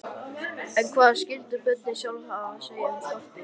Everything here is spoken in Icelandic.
En hvað skyldu börnin sjálf hafa að segja um sportið?